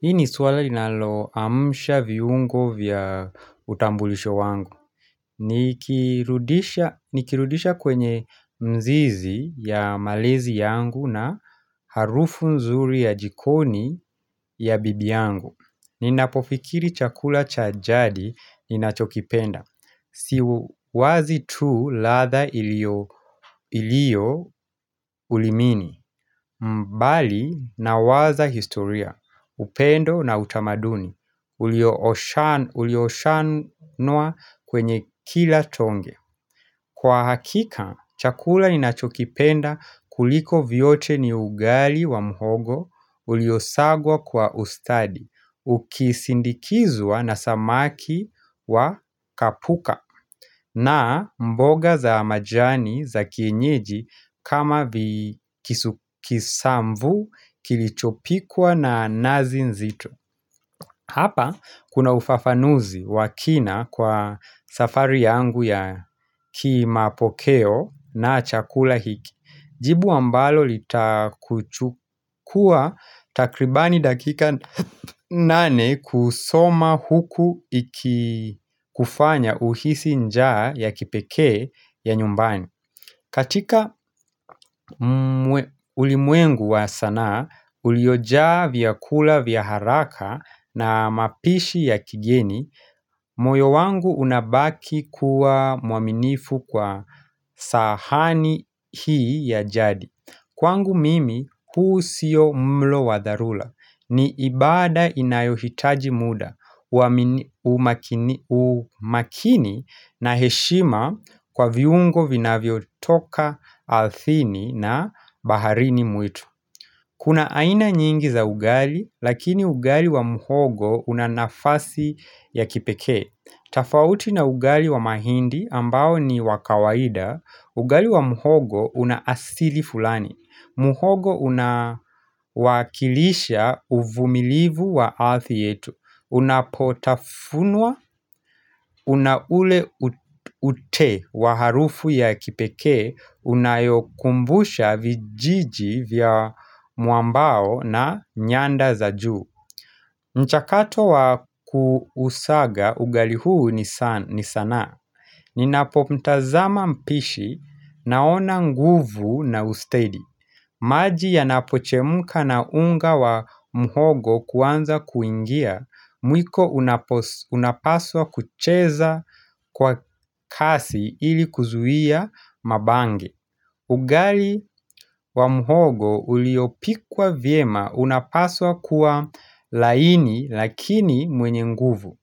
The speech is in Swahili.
Hii ni swala ninaloamsha viungo vya utambulisho wangu. Nikirudisha kwenye mzizi ya malezi yangu na harufu mzuri ya jikoni ya bibi yangu. Ninapofikiri chakula cha jadi ninachokipenda. Si wazi tu ladha iliyo ulimini. Mbali nawaza historia. Upendo na utamaduni. Uliooshanua kwenye kila tonge Kwa hakika, chakula ninachokipenda kuliko vyote ni ugali wa mhogo ulio sagwa kwa ustadi Ukisindikizwa na samaki wa kapuka na mboga za majani za kienyeji kama kisamvu kilichopikwa na nazi nzito Hapa kuna ufafanuzi wa kina kwa safari yangu ya kimapokeo na chakula hiki. Jibu ambalo litakuchukua takribani dakika nane kusoma huku ikikufanya uhisi njaa ya kipekee ya nyumbani. Katika ulimwengu wa sanaa, uliojaa vyakula vya haraka na mapishi ya kigeni, moyo wangu unabaki kuwa muaminifu kwa sahani hii ya jadi. Kwangu mimi, huu sio mlo wa dharura. Ni ibada inayohitaji muda, umakini na heshima kwa viungo vinavyotoka ardhini na baharini mwitu. Kuna aina nyingi za ugali, lakini ugali wa mhogo una nafasi ya kipekee. Tofauti na ugali wa mahindi ambao ni wa kawaida, ugali wa mhogo una asili fulani. Mhogo unawakilisha uvumilivu wa ardhi yetu. Unapotafunwa, una ule ute wa harufu ya kipekee Unayokumbusha vijiji vya muambao na nyanda za juu mchakato wa kuusaga, ugali huu ni sanaa Ninapo mtazama mpishi, naona nguvu na ustedi maji yanapochemuka na unga wa muhogo kuanza kuingia Mwiko unapaswa kucheza kwa kasi ili kuzuia mabange Ugali wa mhogo uliopikwa vyema unapaswa kuwa laini lakini mwenye nguvu